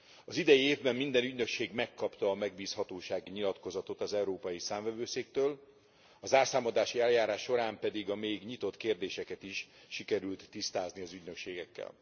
Az idei évben minden ügynökség megkapta a megbízhatósági nyilatkozatot az Európai Számvevőszéktől, a zárszámadási eljárás során pedig a még nyitott kérdéseket is sikerült tisztázni az ügynökségekkel.